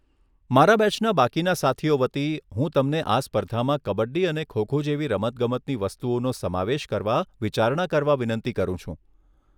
મારા બેચના બાકીના સાથીઓ વતી, હું તમને આ સ્પર્ધામાં કબડ્ડી અને ખો ખો જેવી રમતગમતની વસ્તુઓનો સમાવેશ કરવા વિચારણા કરવા વિનંતી કરું છું.